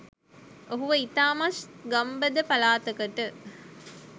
ඔහුව ඉතාමත් ගම්බද පලාතකට